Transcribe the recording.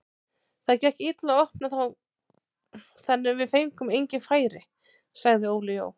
Það gekk illa að opna þá þannig við fengum engin færi, sagði Óli Jó.